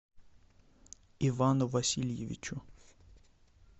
ивану васильевичу